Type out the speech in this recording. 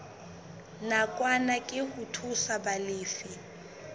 nakwana ke ho thusa balefi